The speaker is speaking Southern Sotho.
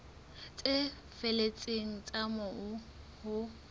tse felletseng tsa moo ho